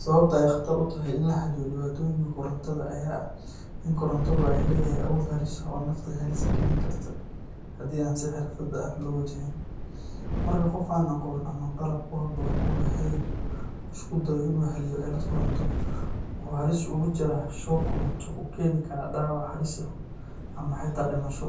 Sababta ay qatar tahay in la xaliyo dhibaatooyinka korontada ayaa ah in korontadu ay leedahay awood halis ah oo nafta halis galin karto haddii aan si xirfad leh loo wajihin. Marka qof aan aqoon ama qalab ku haboon u lahayn uu isku dayo inuu xaliyo cilad koronto, wuxuu halis ugu jiraa shock koronto oo keeni karo dhaawac halis ah ama xitaa dhimasho.